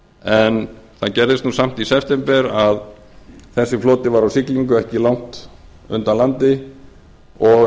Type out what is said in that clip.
en það gerðist nú samt í september að þessi floti var á siglingu ekki langt undan landi og